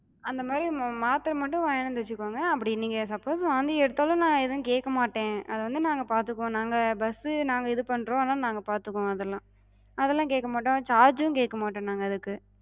அந்தமாரி ஒன்னு மாத்தர மட்டு வாங்கிட்டு வந்து வச்சுக்கங்க. அப்டி நீங்க suppose வாந்தி எடுத்தாலு நா எது கேக்க மாட்டே, அதவந்து நாங்க பாத்துக்குவோ. நாங்க bus நாங்க இது பண்றோ, அதனால நாங்க பாத்துக்குவோ அதெல்லா. அதெல்லா கேக்க மட்டோ, charge கேக்க மாட்டோ நாங்க அதுக்கு.